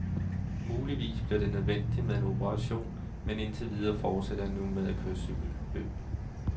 Muligvis bliver det nødvendigt med en operation, men indtil videre fortsætter jeg nu med at køre cykelløb.